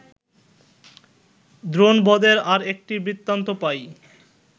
দ্রোণবধের আর একটি বৃত্তান্ত পাই